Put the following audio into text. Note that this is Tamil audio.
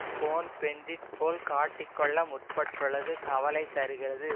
கோன் பென்டிட் போல் காட்டிக் கொள்ள முற்பட்டுள்ளது கவலை தருகிறது